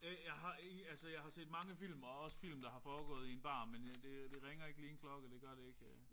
Øh jeg har ikke altså jeg har set mange film og også film der har foregået i en bar men men det det ringer ikke lige klokke. Det gør det ikke